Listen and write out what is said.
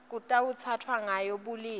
lekutsatfwa ngayo bulili